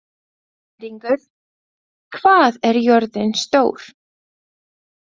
Skæringur, hvað er jörðin stór?